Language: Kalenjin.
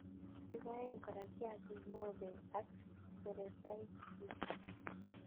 Kiboen kora kiakik mobek ak sebetaitkyik.